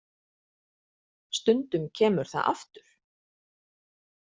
Stundum kemur það aftur.